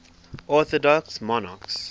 orthodox monarchs